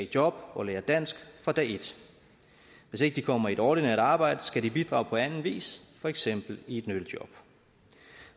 job og lære dansk fra dag et hvis ikke de kommer i et ordinært arbejde skal de bidrage på anden vis for eksempel i et nyttejob